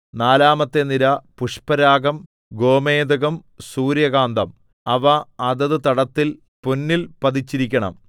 നാലാമത്തെ നിര പുഷ്പരാഗം ഗോമേദകം സൂര്യകാന്തം അവ അതത് തടത്തിൽ പൊന്നിൽ പതിച്ചിരിക്കണം